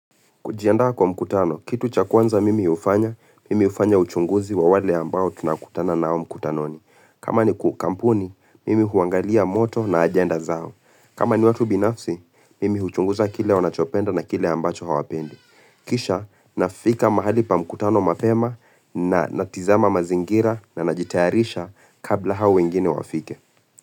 Kujianda kwa mkutano, kitu cha kwanza mimi hufanya, mimi hufanya uchunguzi wa wale ambao tunakutana na au mkutanoni. Kama ni kampuni, mimi huangalia moto na ajenda zao. Kama ni watu binafsi, mimi uchunguza kile wanachopenda na kile ambacho hawapendi. Kisha, nafika mahali pa mkutano mapema, na tizama mazingira, na najitayarisha kabla hao wengine wafike.